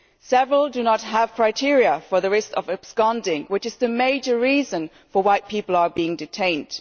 Several do not have criteria for the risk of absconding, which is the major reason why people are being detained.